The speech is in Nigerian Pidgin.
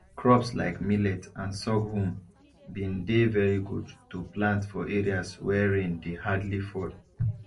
crops like millet and sorghum been dey very good to plant for areas wey rain dey hardly fall